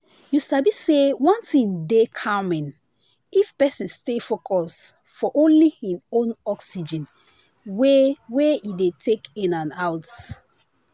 you sabi say one thing dey calming if person stay focus for only hin own oxygen wey wey e dey take in and out.